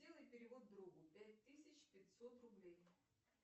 сделай перевод другу пять тысяч пятьсот рублей